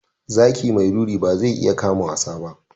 Zaki mai ruri ba zai iya kama wasa ba.